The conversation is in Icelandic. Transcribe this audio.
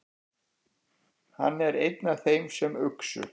Hann er einn af þeim sem uxu.